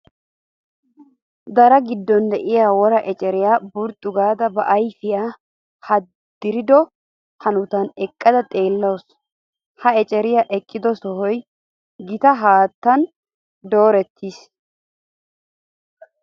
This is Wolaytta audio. Dara giddon de'iya wora eceriya burxxu gaada ba ayfiyan haddirido hanotan eqqada xeellawusu. Ha eceriya eqqido sohoy gita haattan doorettiis.